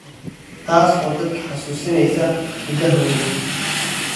taas oo dadka xasuusinaysa hidahooda.